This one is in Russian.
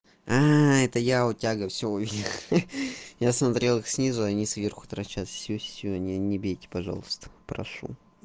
это я у тяга всё у меня ха-ха я смотрел их снизу а они сверху торчат всё не бейте пожалуйста прошу